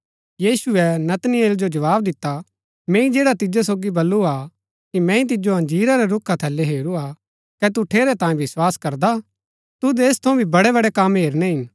यीशुऐ नतनेल जो जवाव दिता मैंई जैडा तिजो सोगी बल्लू हा कि मैंई तिजो अंजीरा रै रूखा थलै हेरू हा कै तू ठेरै तांयें विस्वास करदा तुद ऐस थऊँ भी बड़ैबड़ै कम हेरणै हिन